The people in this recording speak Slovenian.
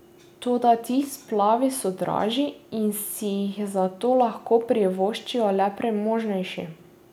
Toda ti splavi so dražji in si jih zato lahko privoščijo le premožnejše.